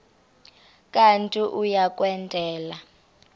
kanti uia kwendela